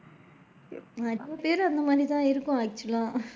நிறைய பேரு அந்த மாதிரி தான் இருக்கோம் actual லா.